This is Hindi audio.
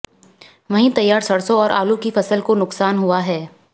वहीं तैयार सरसों और आलू की फसल को नुकसान हुआ है